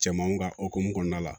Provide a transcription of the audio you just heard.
Cɛmanw ka hokumu kɔnɔna la